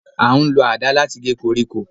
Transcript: A n lo adà latí gé koríko